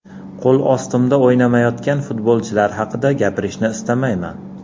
Qo‘l ostimda o‘ynamayotgan futbolchilar haqida gapirishni istamayman.